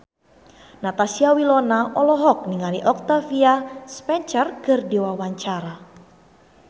Natasha Wilona olohok ningali Octavia Spencer keur diwawancara